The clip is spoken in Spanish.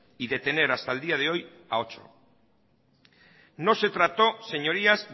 y detener hasta el día de hoy a ocho no se trató señorías